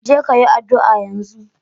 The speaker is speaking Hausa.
Je ka yi addu'a yanzu!